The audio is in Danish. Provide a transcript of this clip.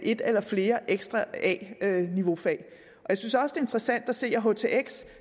et eller flere ekstra a niveau fag og jeg synes også interessant at se at htx